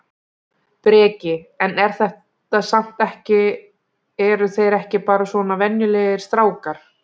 Breki: En er þetta samt ekki eru þeir ekki bara svona venjulegir strákar?